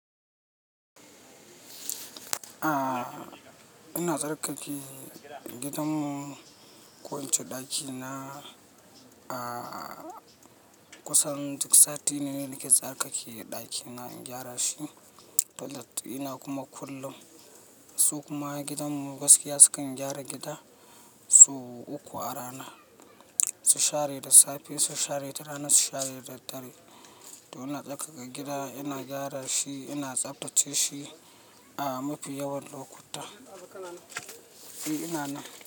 Ah, ina tsarkake gidan mu, ko ince ɗaki na. Ah, kusan duk sati ne nake tsarkake ɗaki na, in gyara shi, toilet ɗina kuma kullun. Su kuma gidan mu gaskiya sukan gyara gida so uku a rana. Su share da safe, su share da rana, su share daddare. To ina tsarkaka gida, ina gyara shi, ina tsaftace shi a mafi yawan lokuta. Eh, ina nan.